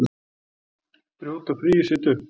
Brjóta fríið sitt upp.